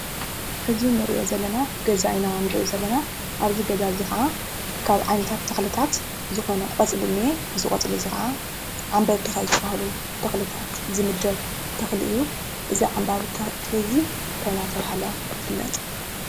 እዚ ንሪኦ ዘለና ገዛ ኢና ንሪኢ ዘለና። ኣብዚ ገዛ ከዓ ካብ ዓይነታት ተኽልታት ዝኾነ ቆፅሊ እኒህ፡፡ እዚ ቆፅሊ ከዓ ዓንበብቲ ካብ ዝባሃሉ ተኽልታት ዝምደብ ተኽሊ እዩ፡፡ እዚ ዓምባቢ ተኽሊ እዚ እንታይ እናተባህለ ይፍለጥ?